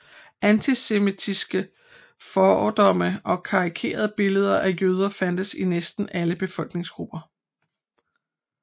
Antisemitiske fordomme og karikerede billeder af jøder fandtes i næsten alle befolkningsgrupper